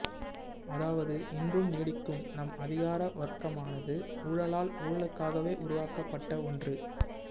அதாவது இன்றும் நீடிக்கும் நம் அதிகார வர்க்கமானது ஊழலால் ஊழலுக்காகவே உருவாக்கப்பட்ட ஒன்று